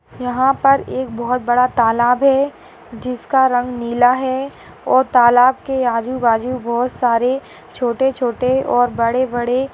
यहाँ पर एक बहोत बड़ा तालाब है जिसका रंग नीला है और तालाब के आजू-बाजू बहुत सारे छोटे-छोटे और बड़े-बड़े --